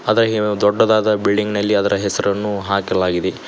ಅದಗೇ ದೊಡ್ಡದಾದ ಬಿಲ್ಡಿಂಗ್ ನಲ್ಲಿ ಅದರ ಹೆಸರನ್ನು ಹಾಕಲಾಗಿದೆ.